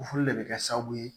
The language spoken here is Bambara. O fɛnɛ de bɛ kɛ sababu ye